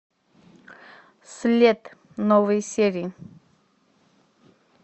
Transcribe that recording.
след новые серии